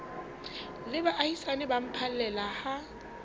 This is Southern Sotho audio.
le baahisane ba phallela ha